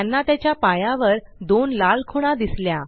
त्यांना त्याच्या पायावर दोन लाल खुणा दिसल्या